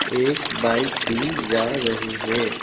एक बाइक भी जा रही है।